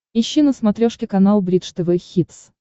ищи на смотрешке канал бридж тв хитс